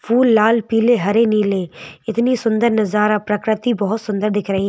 फूल लाल पीले हरे नीले इतनी सुंदर नजारा प्रकृति बहुत सुंदर दिख रही है।